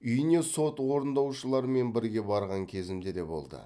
үйіне сот орындаушыларымен бірге барған кезімде де болды